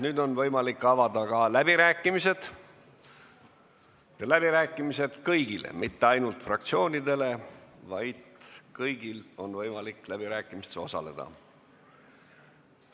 Nüüd on võimalik avada ka läbirääkimised – mitte ainult fraktsioonidele, vaid kõigil on võimalik läbirääkimistes osaleda.